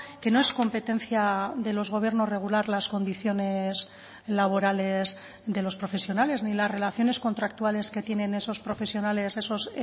que no es competencia de los gobiernos regular las condiciones laborales de los profesionales ni las relaciones contractuales que tienen esos profesionales esos